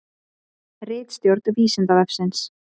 Ritstjórn Vísindavefsins.